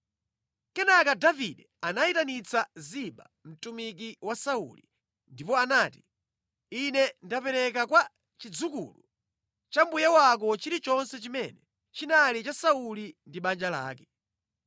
Kenaka Davide anayitanitsa Ziba, mtumiki wa Sauli, ndipo anati, “Ine ndapereka kwa chidzukulu cha mbuye wako chilichonse chimene chinali cha Sauli ndi banja lake.